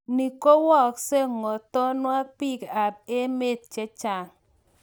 Ni kwookse ngothonwa biik ap emeet chechaang'.